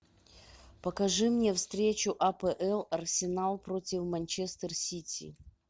покажи мне встречу апл арсенал против манчестер сити